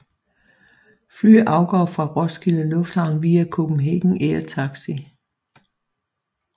Fly afgår fra Roskilde Lufthavn via Copenhagen Air Taxi